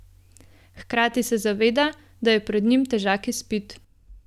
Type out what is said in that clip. Hkrati se zaveda, da je pred njim težak izpit.